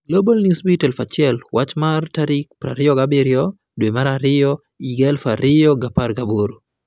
Global Newsbeat 1000 wach mar 27/02/2018